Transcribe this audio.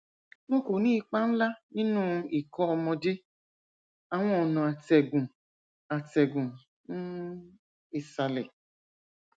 wọn kò ní ipa ńlá nínú ikọ ọmọdé àwọn ọnà atẹgùn atẹgùn um ìsàlẹ